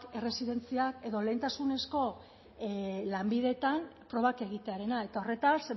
erresidentziak edo lehentasunezko lanbideetan probak egitearena eta horretaz